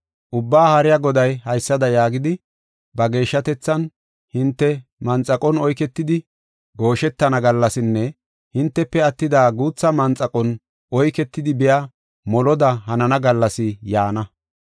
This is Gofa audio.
Ubbaa Haariya Goday haysada yaagidi, ba geeshshatethan caaqis, “Hinte manxaqon oyketidi gooshetana gallasinne hintefe attida guuthati manxaqon oyketidi biya moloda hanana gallas yaana.